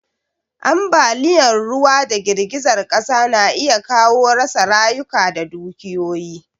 Ambaliyan ruwa da girgizar ƙasa na iya kawo rasa rayuka da dukiyoyi